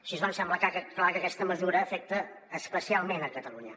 així doncs sembla clar que aquesta mesura afecta especialment catalunya